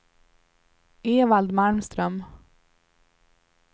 Evald Malmström